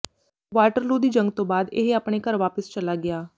Waterloo ਦੀ ਜੰਗ ਤੋਂ ਬਾਅਦ ਇਹ ਆਪਣੇ ਘਰ ਵਾਪਿਸ ਚਲਾ ਗਿਆ